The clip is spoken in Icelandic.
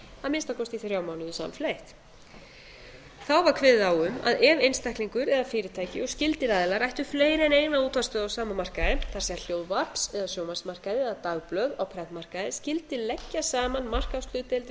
að minnsta kosti í frá mánuði samfleytt þá var kveðið á um að ef einstaklingur eða fyrirtæki og skyldir aðilar ættu fleiri en eina útvarpsstöð á sama markaði það er hljóðvarps eða sjónvarpsmarkaði eða dagblöð á prentmarkaði skyldi leggja saman markaðshlutdeild